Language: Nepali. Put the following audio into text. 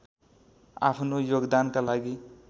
आफ्नो योगदानका लागि